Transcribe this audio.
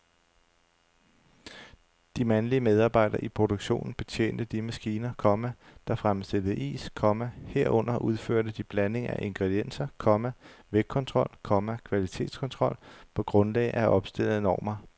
De mandlige medarbejdere i produktionen betjente de maskiner, komma der fremstillede is, komma herunder udførte de blanding af ingredienser, komma vægtkontrol, komma kvalitetskontrol på grundlag af opstillede normer. punktum